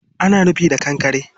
Ana rufin da kankkre